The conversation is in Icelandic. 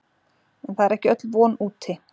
En það er ekki öll von úti.